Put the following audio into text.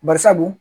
Bari sabu dun